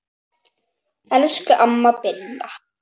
Elsku amma Binna.